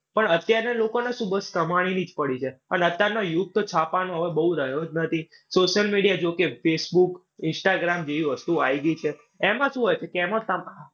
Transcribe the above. પણ અત્યારે લોકોને શું બસ કમાણીની જ પડી છે. અને અત્યારનો યુગ તો છાપાંનો હવે બોઉ રહ્યો જ નથી. social media જો કે facebook, instagram જેવી વસ્તુઓ આવી ગઈ છે. એમાં શું હોય? તો કે એમાં